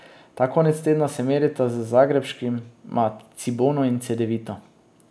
Ta konec tedna se merita z zagrebškima Cibono in Cedevito.